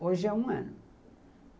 Hoje é um ano.